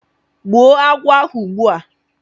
gbuo agwo ugbua!